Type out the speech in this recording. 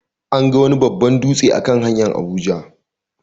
An ga wani babban dutse a kan hanyar Abuja.